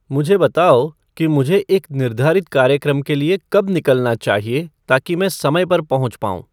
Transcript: मुझे बताओ कि मुझे एक निर्धारित कार्यक्रम के लिए कब निकलना चाहिए ताकि मैं समय पर पहुँच पाऊँ